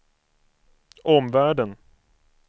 omvärlden